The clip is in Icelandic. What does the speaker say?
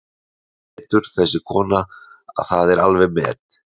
Hún er svo dulvitur þessi kona að það er alveg met.